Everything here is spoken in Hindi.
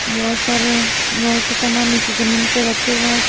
बहुत सारे लोह के सामान नीचे जमीन पर रखे हुए हैं।